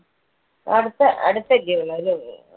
അടുത്ത~അടുത്തല്ലെയോ